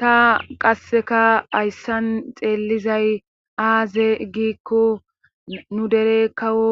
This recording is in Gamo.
ta qasseka hayssan xeellizay aaze giikko nu dere kawo